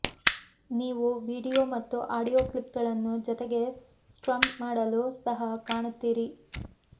ನೀವು ವೀಡಿಯೊ ಮತ್ತು ಆಡಿಯೊ ಕ್ಲಿಪ್ಗಳನ್ನು ಜೊತೆಗೆ ಸ್ಟ್ರಮ್ ಮಾಡಲು ಸಹ ಕಾಣುತ್ತೀರಿ